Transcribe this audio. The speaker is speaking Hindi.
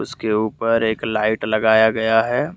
उसके ऊपर एक लाइट लगाया गया है।